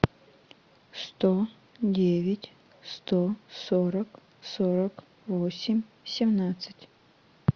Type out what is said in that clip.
сто девять сто сорок сорок восемь семнадцать